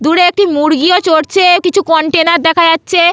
দূরে একটি মুরগিও চরছে কিছু কন্টেইনার দেখা যাচ্ছে।